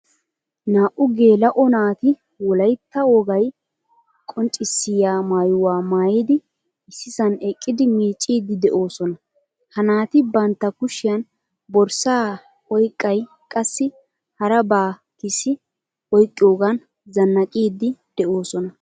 Naa''u gela'o naati wolaytta wogaay qonccissiyaa maayuwaa maayidi issisan eqqidi miccidi deosona. Ha naati bantta kushiyan borssa oyqay qassi harabakks oyqqogan zannaqqidi deosona.